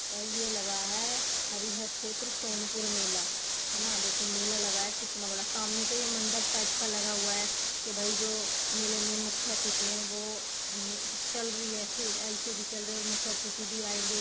भाई ये लगा है हरिहर क्षेत्र सोनपुर मेला है न देखो मेला लगा है कितना बड़ा सामने तो ये मंडप टाइप का लगा हुआ है के भाई जो मेले में मुख्य अतिथि है वो ने चलरी ए.सी एल.सी.डी चल रही है और मुख्य अतिथि भी आयेंगे।